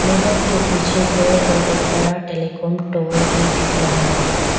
मैदान के पीछे पेड़ और एक बड़ा टेलीकॉम टावर भी दिख रहा है।